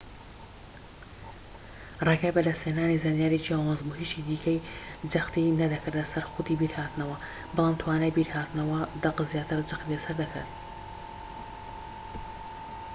ڕێگای بەدەست هێنانی زانیاری جیاواز بوو هیچی دیکەی جەختی نەدەکردە سەر خودی بیرهاتنەوە بەڵام توانای بیرهاتنەوەی دەق زیاتر جەختی لە سەر دەکرێت